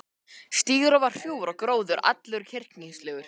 Stígurinn var hrjúfur og gróður allur kyrkingslegur.